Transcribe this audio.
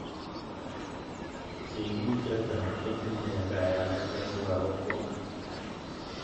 Sigik che chang' kotinye kayanet eng' lagok kwak